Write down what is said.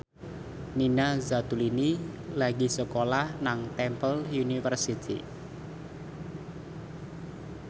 Nina Zatulini lagi sekolah nang Temple University